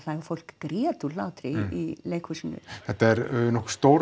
fólk grét úr hlátri í leikhúsinu þetta er nokkuð stór